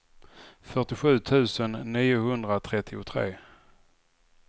fyrtiosju tusen niohundratrettiotre